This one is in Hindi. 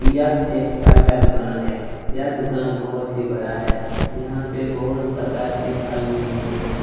यह एक फल का दूकान है य दूकान बहुत ही बड़ा है यहाँ पे बहुत प्रकार के फल मिल रहे हैं ।